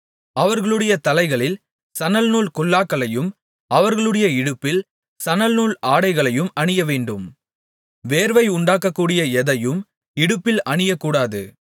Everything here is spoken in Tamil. அவர்களுடைய தலைகளில் சணல்நூல் குல்லாக்களையும் அவர்களுடைய இடுப்பில் சணல்நூல் ஆடைகளையும் அணியவேண்டும் வேர்வை உண்டாக்கக்கூடிய எதையும் இடுப்பில் அணியக்கூடாது